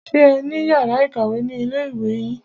Ṣé ẹ ní yàrá ìkàwé ni ilé ìwé yín?